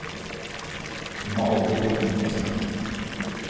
Vi må alle gå inn i smerten.